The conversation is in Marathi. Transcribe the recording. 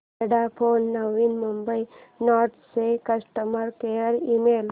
वोडाफोन नवी मुंबई नोड चा कस्टमर केअर ईमेल